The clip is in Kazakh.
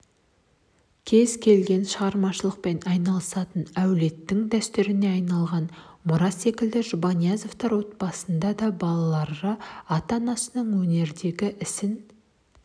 кез келген шығармашылықпен айналысатын әулеттің дәстүріне айналған мұра секілді жұбаниязовтар отбасында да балалары ата-анасының өнердегі ісін